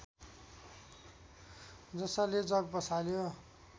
जसले जग बसाल्यो